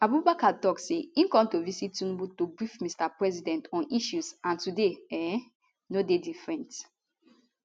abubakar tok say im come to visit tinubu to brief mr president on issues and today um no dey different